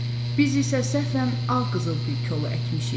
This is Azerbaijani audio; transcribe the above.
Biz isə səhvən ağ qızıl gül kolu əkmişik.